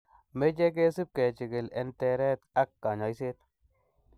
Moche kesib kechikili en teret ak konyoisiet .